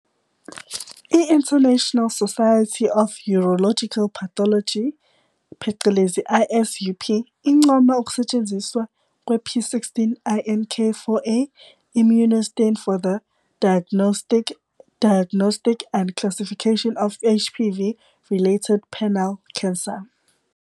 I-International Society of Urological Pathology, phecelezi ISUP, incoma ukusetshenziswa kwe- p16 INK4A immunostain for the diagnostic and classification of HPV-related penile cancer.